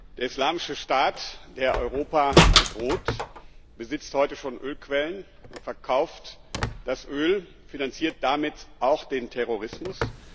Der Islamische Staat, der Europa bedroht, besitzt heute schon Ölquellen und verkauft das Öl, finanziert damit auch den Terrorismus.